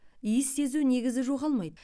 иіс сезу негізі жоғалмайды